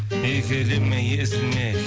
еркелеме езілме